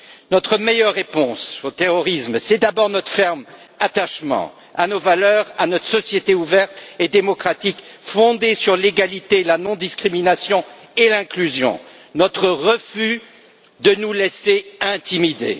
Notre meilleure réponse au terrorisme, c'est d'abord notre ferme attachement à nos valeurs, à notre société ouverte et démocratique fondée sur l'égalité, la non discrimination et l'intégration et notre refus de nous laisser intimider.